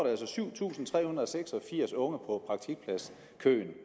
altså syv tusind tre hundrede og seks og firs unge